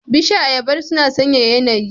Bishiyar Ayaba suna sanyaya yanayi.